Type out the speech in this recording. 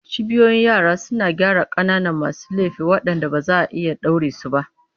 Cibiyoyin yara suna gyara ƙananan masu laifi waɗanda ba za a iya ɗaure su ba.